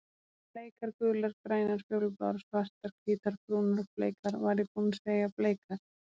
Bleikar gular grænar fjólubláar svartar hvítar brúnar bleikar var ég búinn að segja bleikar?